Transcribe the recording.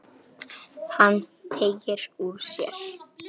Hann teygir úr sér.